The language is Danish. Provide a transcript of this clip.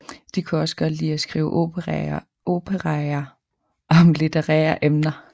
De kunne også godt lide at skrive operaer om litterære emner